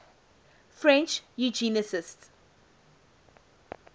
french eugenicists